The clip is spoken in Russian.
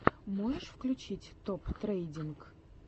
можешь включить топ трендинг